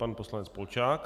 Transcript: Pan poslanec Polčák.